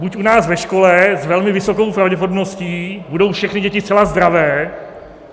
Buď u nás ve škole s velmi vysokou pravděpodobností budou všechny děti zcela zdravé.